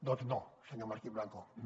doncs no senyor martín blanco no